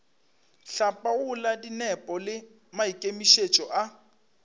hlapaola dinepo le maikemišetšo a